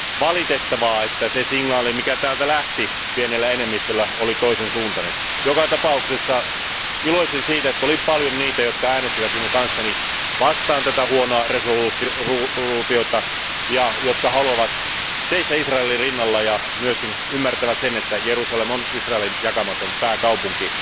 on valitettavaa, että se signaali, joka täältä lähti pienellä enemmistöllä oli toisen suuntainen. Joka tapauksessa iloitsin siitä, että oli paljon niitä, jotka äänestivät minun kanssani tätä huonoa päätöslauselmaa vastaan ja jotka haluavat seistä Israelin rinnalla ja myöskin ymmärtävät sen, että Jerusalem on Israelin jakamaton pääkaupunki.